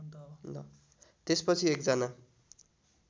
त्यसपछि एक जना